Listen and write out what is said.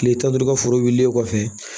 Kile tan ni duuru ka foro wulilen kɔfɛ